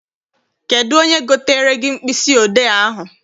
Kedụ onye gotere gị mkpịsị odee ahụ?